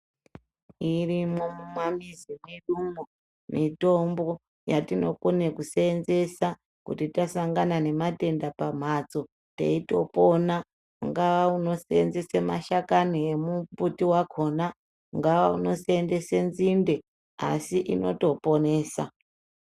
Irimwo mumamizi mwedumwo mitombo yatinokone kusenzesa kuti tasangane nematenda pamhatso teitopona ungava unosevenzese mashakani emumbuti wakhona ungava unosenzese nzinde asi inotoponesa.